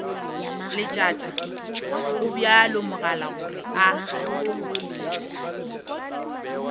leletša gobjalo mogala gore a